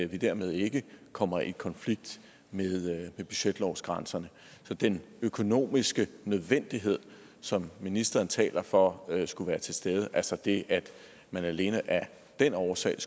vi dermed ikke kommer i konflikt med budgetlovsgrænserne så den økonomiske nødvendighed som ministeren taler for skulle være til stede altså det at man alene af den årsag